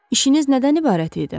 İşiniz nədən ibarət idi?